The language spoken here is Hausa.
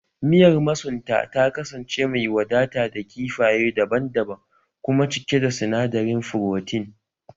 Miyar masunta ta kasance mai wadata da kifaye daban-daban kuma cike da sinadarin furotin